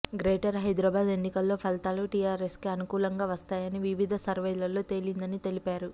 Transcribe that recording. greater Hyderabad ఎన్నికల్లో ఫలితాలు టిఆర్ఎస్కే అనుకూలంగా వస్తాయని వివిధ సర్వేల్లో తేలిందని తెలిపారు